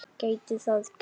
Gæti það gerst?